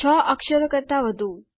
6 અક્ષરો કરતા વધું